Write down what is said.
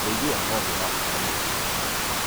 ũrĩithi wa ng'ombe ũrabatara mũrĩre mwega